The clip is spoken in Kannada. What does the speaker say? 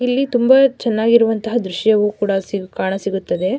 ಇಲ್ಲಿ ತುಂಬ ಚೆನ್ನಾಗಿರುವಂತಹ ದ್ರಶ್ಯಾವು ಕೂಡ ಕಾಣ ಸಿಗುತ್ತದೆ.